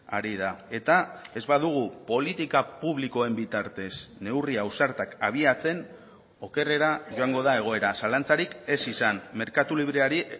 ari da eta ez badugu politika publikoen bitartez neurri ausartak abiatzen okerrera joango da egoera zalantzarik ez izan merkatu libreari